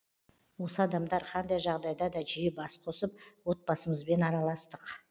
осы адамдар қандай жағдайда да жиі бас қосып отбасымызбен араластық